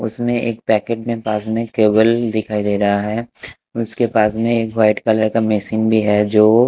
उसमे एक पैकेट में बाजू में केबल दिखाई दे रहा है उसके पास में एक वाइट कलर का मेसिंग भी है जो--